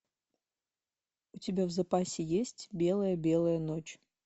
у тебя в запасе есть белая белая ночь